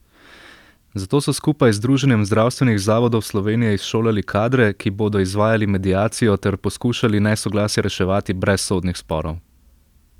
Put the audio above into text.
Zato so skupaj z Združenjem zdravstvenih zavodov Slovenije izšolali kadre, ki bodo izvajali mediacijo ter poskušali nesoglasja reševati brez sodnih sporov.